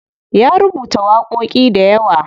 Ya rubuta waƙoƙi dayawa.